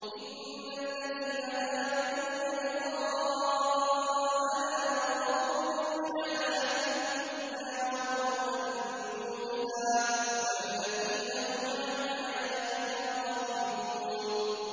إِنَّ الَّذِينَ لَا يَرْجُونَ لِقَاءَنَا وَرَضُوا بِالْحَيَاةِ الدُّنْيَا وَاطْمَأَنُّوا بِهَا وَالَّذِينَ هُمْ عَنْ آيَاتِنَا غَافِلُونَ